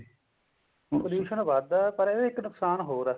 pollution ਵਧਦਾ ਪਰ ਕਹਿੰਦੇ ਇੱਕ ਨੁਕਸਾਨ ਹੋਰ ਆ